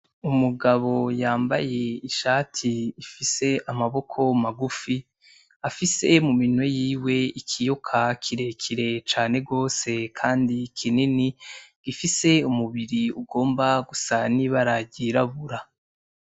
Umugabo y'ambaye ishati ifise amaboko magufi, afise mu maboko yiwe ikiyoka kirekire cane gose kandi kinini, gifise umubiri ugomba gusa n'ibara ry'irabura.